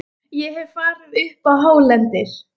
Ég hef farið upp á hálendið.